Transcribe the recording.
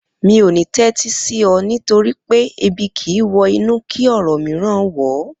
Mi ò ní tẹ́tí sí ọ nítorí pé Ebi kìí wọ inú kí ọ̀rọ̀ mìíràn wọ̀ ọ́